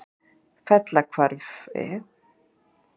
Fellahvarfi